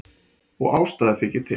Og ástæða þykir til.